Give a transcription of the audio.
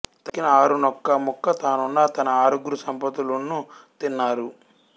తక్కిన ఆరున్నొక్క ముక్క తానున్ను తన ఆరుగురు సపతులున్నూ తిన్నారు